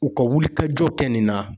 U ka wulikajɔ kɛ nin na